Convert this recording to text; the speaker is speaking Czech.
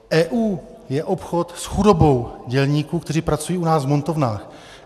EU je obchod s chudobou dělníků, kteří pracují u nás v montovnách.